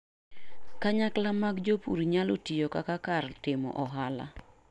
Kanyakla mag jopur nyalo tiyo kaka kar timo ohala.